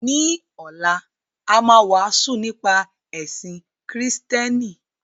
Ní ọ̀la, a máa wàásù nípa ẹ̀sìn Kristẹni.